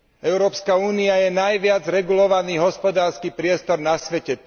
Európska únia je najviac regulovaný hospodársky priestor na svete.